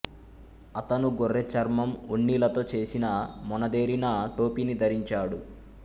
అతను గొర్రె చర్మం ఉన్నిలతో చేసిన మొనదేరిన టోపీని ధరించాడు